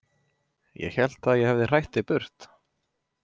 Ég hélt að ég hefði hrætt þig burt.